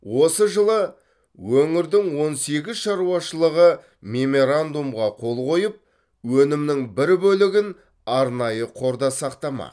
осы жылы өңірдің он сегіз шаруашылығы мемерандумға қол қойып өнімнің бір бөлігін арнайы қорда сақтамақ